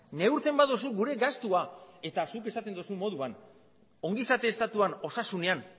neurtzen baduzu gure gastua eta zuk esaten duzun moduan ongizate estatuan osasunean